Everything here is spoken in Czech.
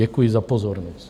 Děkuji za pozornost.